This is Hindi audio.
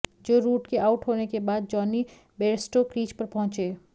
जो रूट के आउट होने के बाद जॉनी बेयरस्टो क्रीज पर पहुंचे